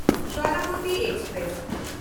Saraswati express